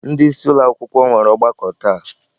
Ndị isi ụlọ akwụkwọ nwere ọgbakọ taa.